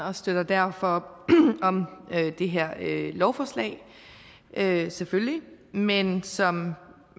og støtter derfor op om det her lovforslag selvfølgelig men ligesom